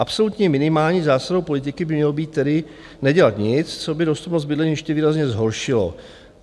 Absolutní minimální zásadou politiky by mělo být tedy nedělat nic, co by dostupnost bydlení ještě výrazně zhoršilo.